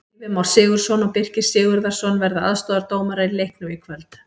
Gylfi Már Sigurðsson og Birkir Sigurðarson verða aðstoðardómarar í leiknum í kvöld.